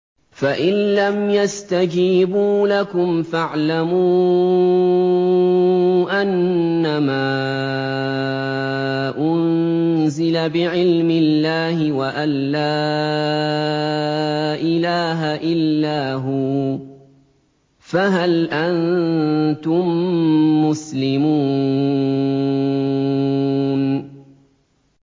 فَإِلَّمْ يَسْتَجِيبُوا لَكُمْ فَاعْلَمُوا أَنَّمَا أُنزِلَ بِعِلْمِ اللَّهِ وَأَن لَّا إِلَٰهَ إِلَّا هُوَ ۖ فَهَلْ أَنتُم مُّسْلِمُونَ